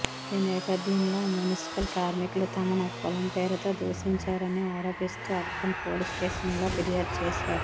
ఈ నేపథ్యంలో మున్సిపల్ కార్మికులు తమను కులం పేరుతో దూషించారని ఆరోపిస్తూ అర్బన్ పోలీస్స్టేషన్లో ఫిర్యాదు చేశారు